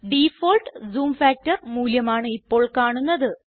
default zoom factor മൂല്യം ആണ് ഇപ്പോൾ കാണുന്നത്